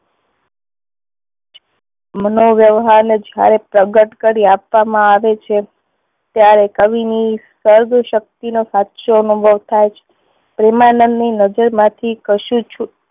મનોવ્યવહાર ને જ્યારે પ્રગટ કરી આપવામાં આવે છે ત્યારે કવિ ની શક્તિ નો પાછો અનુભવ થાય છે. પ્રેમાનંદ ની નજર માંથી કશું છુ